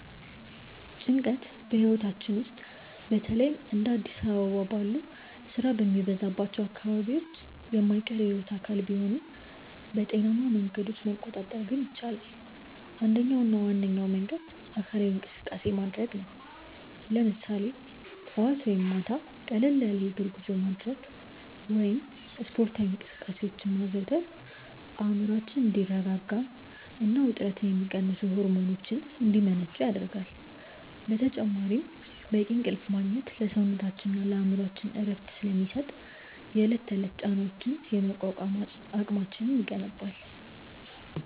ጭንቀት ህይወታችን ውስጥ በተለይም እንደ አዲስ አበባ ባሉ ስራ በሚበዛባቸው አካባቢዎች የማይቀር የህይወት አካል ቢሆንም፣ በጤናማ መንገዶች መቆጣጠር ግን ይቻላል። አንደኛውና ዋነኛው መንገድ አካላዊ እንቅስቃሴ ማድረግ ነው፤ ለምሳሌ ጠዋት ወይም ማታ ቀለል ያለ የእግር ጉዞ ማድረግ ወይም ስፖርታዊ እንቅስቃሴዎችን ማዘውተር አእምሮአችን እንዲረጋጋና ውጥረትን የሚቀንሱ ሆርሞኖች እንዲመነጩ ይረዳል። በተጨማሪም በቂ እንቅልፍ ማግኘት ለሰውነታችንና ለአእምሮአችን እረፍት ስለሚሰጥ፣ የዕለት ተዕለት ጫናዎችን የመቋቋም አቅማችንን ይገነባል።